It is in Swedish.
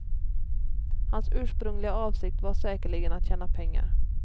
Hans ursprungliga avsikt var säkerligen att tjäna pengar.